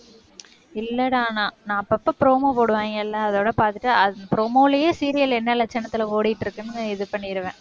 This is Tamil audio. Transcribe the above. இல்லைடா நான் அப்பப்ப promo போடுவாய்ங்க இல்லை? அதோட பார்த்துட்டு, promo லையே serial என்ன லட்சணத்துல ஓடிட்டு இருக்குன்னு, இது பண்ணிடுவேன்.